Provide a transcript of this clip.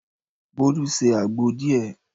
Bolu se àgbo díẹ̀.